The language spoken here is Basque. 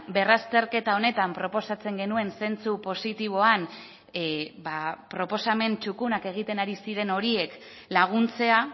berrazterketa honetan proposatzen genuen zentzu positiboan proposamen txukunak egiten ari ziren horiek laguntzea